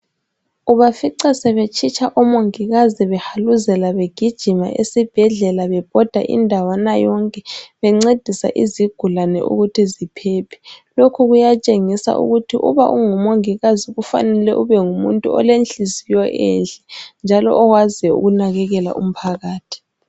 Ubafica setshitsha omongikazi behaluzela begijima esibhedlela bebhoda indawana yonke bencedisa izigulane ukuthi ziphephe lokhu kuyatshengisa ukuthi uma ungumongikazi kufanele ubengumuntu olenhliziyo enhle njalo owaziyo ukunakekela umphakathi.